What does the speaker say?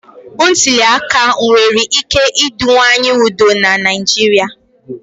Ntuli aka nwere ike ịdịwanye udo na Naịjirịa.